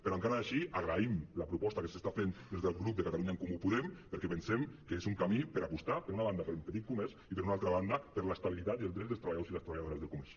però encara així agraïm la proposta que s’està fent des del grup de catalunya en comú podem perquè pensem que és un camí per apostar per una banda pel petit comerç i per una altra banda per l’estabi·litat i els drets dels treballadors i les treballadores del comerç